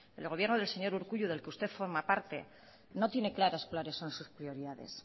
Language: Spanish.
el gobierno del señor urkullu del que usted forma parte no tiene claras cuáles son sus prioridades